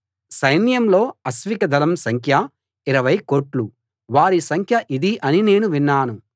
సైన్యంలో అశ్విక దళం సంఖ్య ఇరవై కోట్లు వారి సంఖ్య ఇది అని నేను విన్నాను